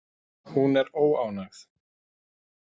Hún er óánægð.